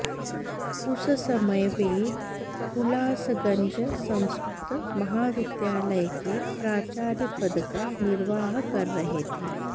उस समय वे हुलासगंज संस्कृत महाविद्यालय के प्राचार्य पद का निर्वाह कर रहे थे